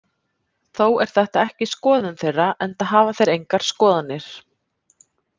Þó er þetta ekki skoðun þeirra, enda hafa þeir engar skoðanir.